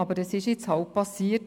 Doch es ist nun mal geschehen.